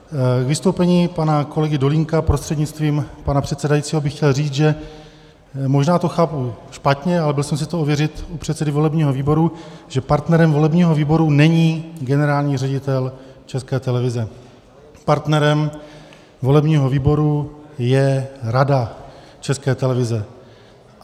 K vystoupení pana kolegy Dolínka prostřednictvím pana předsedajícího bych chtěl říct, že možná to chápu špatně, ale byl jsem si to ověřit u předsedy volebního výboru, že partnerem volebního výboru není generální ředitel České televize, partnerem volebního výboru je Rada České televize.